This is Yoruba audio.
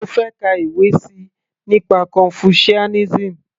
mo fẹ́ ka ìwé síi nípa confucianism